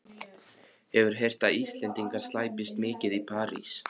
Hefur heyrt að Íslendingar slæpist mikið í París.